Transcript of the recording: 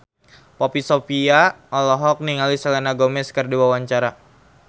Poppy Sovia olohok ningali Selena Gomez keur diwawancara